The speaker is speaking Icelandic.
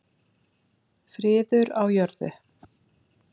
Friður á jörðu.